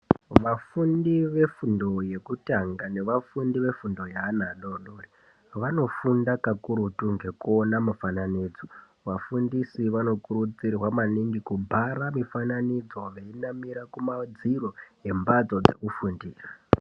Vafundi vefundo yekutanga, nevafundi vefundo yeana adoodori, vanofunda kakurutu ngekuona mufananidzo. Vafundisi vanokurudzirwa maningi kubhara mifananidzo, veinamira kumadziro embatso dzekufundira.